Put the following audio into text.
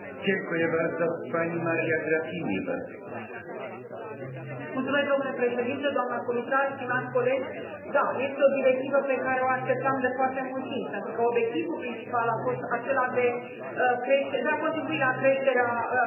Domnule președinte, doamnă comisar, stimați colegi, da, este o directivă pe care o așteptam de foarte mult timp, pentru că obiectivul principal a fost acela de a contribui la creșterea pieței digitale și sigur că statistica arată că majoritatea